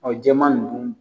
Ɔn jaman nunnu